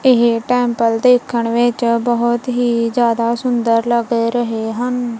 ਇਹ ਟੈਂਪਲ਼ ਦੇਖਣ ਵਿੱਚ ਬਹੁਤ ਹੀ ਜਿਆਦਾ ਸੁੰਦਰ ਲੱਗ ਰਹੇ ਹਨ।